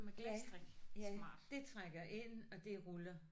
Ja ja. Det trækker ind og det ruller